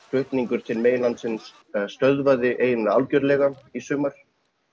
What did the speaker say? flutningur til meginlandsins stöðvaði eiginlega algjörlega í sumar